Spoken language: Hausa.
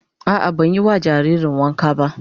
A'a ban yi ma jaririn wanka ba